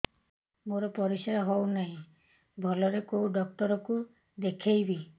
ମୋର ପରିଶ୍ରା ହଉନାହିଁ ଭଲରେ କୋଉ ଡକ୍ଟର କୁ ଦେଖେଇବି